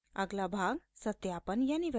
अगला भाग सत्यापन verification है